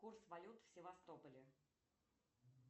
курс валют в севастополе